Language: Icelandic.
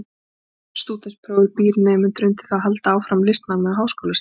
Stúdentsprófið býr nemendur undir að halda áfram listanámi á háskólastigi.